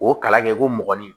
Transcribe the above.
O kalan kɛ ko mɔgɔni